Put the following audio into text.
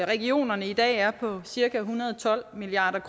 regionerne i dag er på cirka en hundrede og tolv milliard